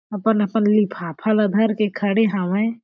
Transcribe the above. अपन-अपन लिफाफा ला धर के खड़े हावय।